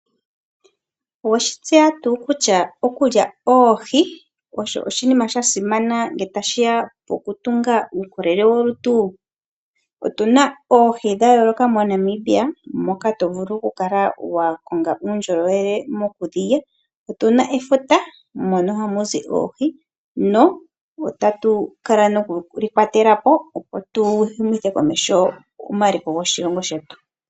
Oweshi tseya tuu kutya okulya oohi osho oshinima shasimana ngele tashiya koku tunga uukolele wolutu. Otuna oohi dha yooloka moNamibia moka to vulu oku kala wa konga uundjolowele mokudhilya. Otuna efuta mono hamu zi oohi no otatu kala nokuli kwatelapo opo tu humithe komeho omaliko goshilongo shetu.